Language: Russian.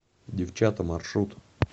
девчата маршрут